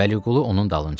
Vəliqulu onun dalınca.